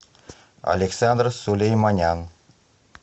александр сулейманян